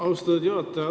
Austatud juhataja!